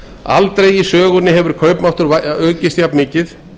aldrei í sögunni hefur kaupmáttur aukist jafnmikið